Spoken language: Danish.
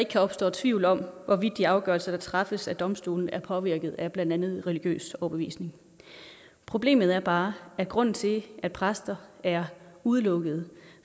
kan opstå tvivl om hvorvidt de afgørelser der træffes af domstolene er påvirket af blandt andet religiøs overbevisning problemet er bare at grunden til at præster er udelukket